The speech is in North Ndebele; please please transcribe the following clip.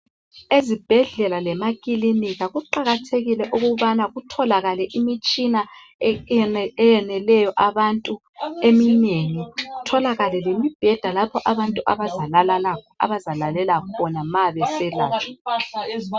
Ezibhedlela lemakilinika kuqakathekile ukubana kutholakale imitshina eyeneleyo abantu eminengi. Kutholakale lemibheda lapho abazalalela khona ma beselatshwa.